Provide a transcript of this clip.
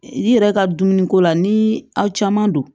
I yɛrɛ ka dumuni ko la ni aw caman don